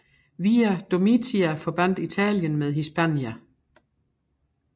Via Domitia forbandt Italien med Hispania